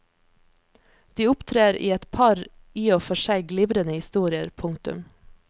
De opptrer i et par i og for seg glimrende historier. punktum